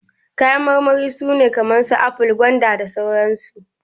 Kayan marmari su ne kamar su aful, gwanda, mangoro, da sauran su.